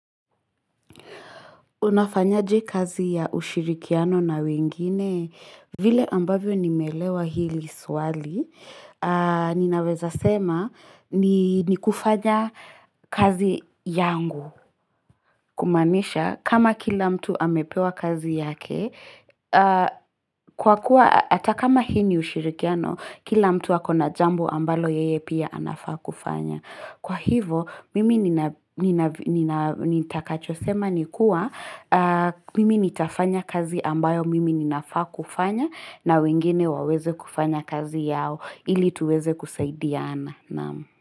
Unafanyaje kazi ya ushirikiano na wengine?, vile ambavyo nimeelewa hili swali, ninaweza sema ni kufanya kazi yangu kumaanisha kama kila mtu amepewa kazi yake, kwa kuwa ata kama hii ni ushirikiano, kila mtu ako na jambo ambalo yeye pia anafaa kufanya. Kwa hivo mimi nitakachosema ni kuwa mimi nitafanya kazi ambayo mimi ninafaa kufanya na wengine waweze kufanya kazi yao ili tuweze kusaidiana.